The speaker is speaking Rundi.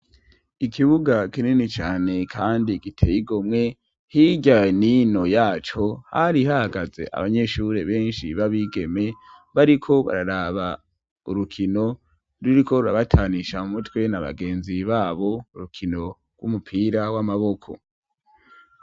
Ikibuga kinini cane kandi giteyigomwe higa nino yaco hari ihagaze abanyeshuri benshi babigeme bariko bararaba urukino ruriko rurabatanisha mu mutwe na bagenzi babo urukino rw'umupira w'amaboko.